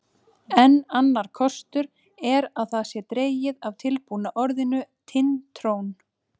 Enn annar kostur er að það sé dregið af tilbúna orðinu Tind-trón.